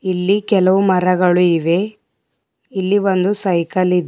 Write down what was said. ಇಲ್ಲಿ ಕೆಲವು ಮರಗಳು ಇವೆ ಇಲ್ಲಿ ಒಂದು ಸೈಕಲ್ ಇದೆ.